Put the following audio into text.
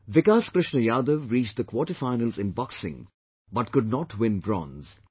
Vikas Krishna Yadav reached the quarter finals in Boxing but could not win Bronze